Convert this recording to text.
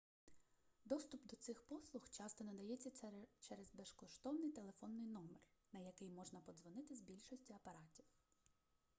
доступ до цих послуг часто надається через безкоштовний телефонний номер на який можна подзвонити з більшості апаратів